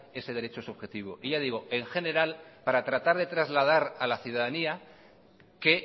ese derecho subjetivo y ya digo en general para tratar de trasladar a la ciudadanía que